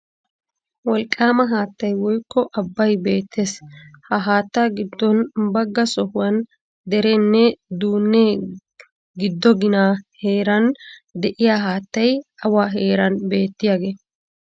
Wolqqaama haattay woykko abbay beettees, ha haattaa giddon bagga sohuwan dereennee duunnee giddo ginaa heeran de'iyo haattay awa heeran beettiyagee?